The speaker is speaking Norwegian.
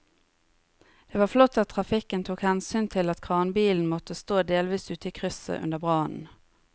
Det var flott at trafikken tok hensyn til at kranbilen måtte stå delvis ute i krysset under brannen.